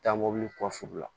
Taa mobili kɔsi u la